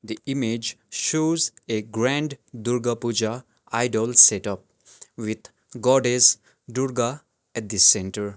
the image shows a grand durga pooja idol setup with goddess durga at the centre.